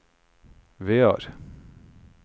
Vear